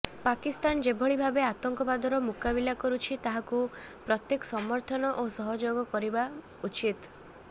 ପାକିସ୍ତାନ ଯେଭଳି ଭାବେ ଆତଙ୍କବାଦର ମୁକାବିଲା କରୁଛି ତାହାକୁ ପ୍ରତ୍ୟେକ ସମର୍ଥନ ଓ ସହଯୋଗ କରିବା ଉଚିତ